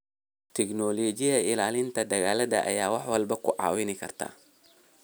Tignoolajiyada ilaalinta dalagga ayaa waliba ku caawin karta.